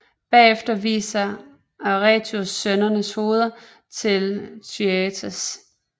Bagefter viser Atreus sønnernes hoveder til Thyestes